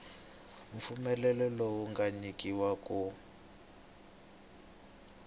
mpfumelelo lowu nga nyikiwa ku